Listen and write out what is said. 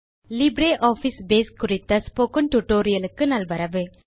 LibreOffice Base குறித்த spoken tutorial க்கு நல்வரவு